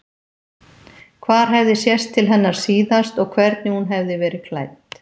Hvar hefði sést til hennar síðast og hvernig hún hefði verið klædd.